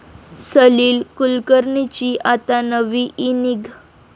सलील कुलकर्णींची आता नवी इनिंग